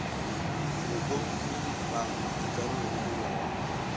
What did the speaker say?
go pomipa dikarolo le melawana